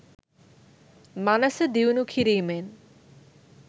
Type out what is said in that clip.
මනස දියුණු කිරීමෙන්